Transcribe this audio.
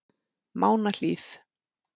Mánahlíð